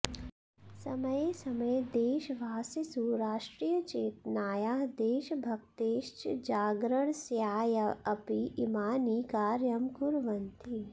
समये समये देशवासिसु राष्ट्रियचेतनायाः देशभक्तेश्च जागरणस्याऽपि इमानि कार्यं कुर्वन्ति